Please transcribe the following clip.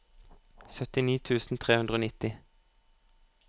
syttini tusen tre hundre og nitti